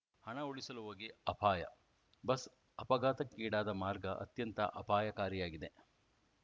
ಹಣ ಉಳಿಸಲು ಹೋಗಿ ಅಪಾಯ ಬಸ್‌ ಅಪಘಾತಕ್ಕೀಡಾದ ಮಾರ್ಗ ಅತ್ಯಂತ ಅಪಾಯಕಾರಿಯಾಗಿದೆ